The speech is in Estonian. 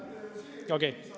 Okei.